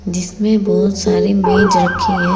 जिसमें बहुत सारे मेज रखी है।